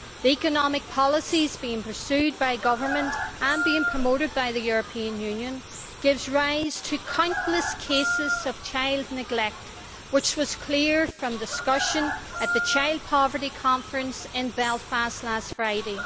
Economic policies being pursued by governments and being promoted by the European Union give rise to countless cases of child neglect, which was clear from discussions at the Child Poverty Conference in Belfast last Friday.